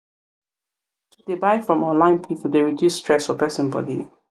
to dey buy from online pipu dey reduce stress for pesin body.